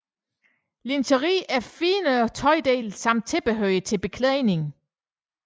Lingeri er finere tøjdele samt tilbehør til beklædning